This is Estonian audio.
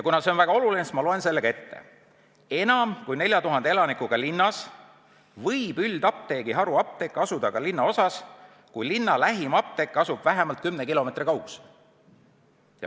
Kuna see on väga oluline, siis ma loen selle ette: "Enam kui 4000 elanikuga linnas võib üldapteegi haruapteek asuda ka linnaosas, kui linna lähim apteek asub vähemalt 10 kilomeetri kaugusel.